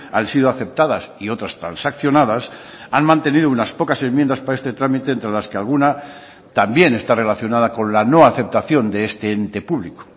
han sido aceptadas y otras transaccionadas han mantenido unas pocas enmiendas para este trámite entre las que alguna también está relacionada con la no aceptación de este ente público